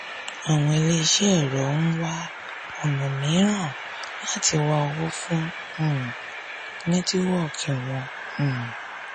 àwọn ilé iṣẹ́ ẹ̀rọ ń wá ona mííràn láti wá owó fún um netiwoki wọn. um